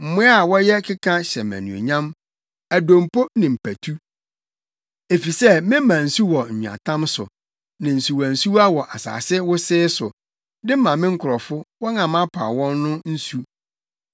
Mmoa a wɔyɛ keka hyɛ me anuonyam, adompo ne mpatu, efisɛ mema nsu wɔ nweatam so ne nsuwansuwa wɔ asase wosee so, de ma me nkurɔfo, wɔn a mapaw wɔn no nsu,